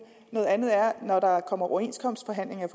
noget andet er når der kommer overenskomstforhandlinger i